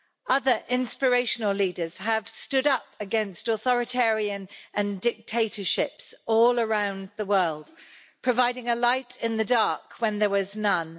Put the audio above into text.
Other inspirational leaders have stood up against authoritarianism and dictatorships all around the world, providing a light in the dark when there was none.